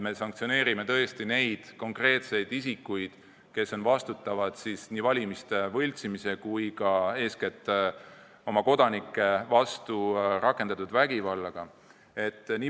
Me sanktsioneerime tõesti neid konkreetseid isikuid, kes vastutavad nii valimiste võltsimise kui ka eeskätt oma kodanike vastu rakendatud vägivalla eest.